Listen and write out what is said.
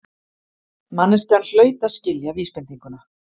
Manneskjan hlaut að skilja vísbendinguna.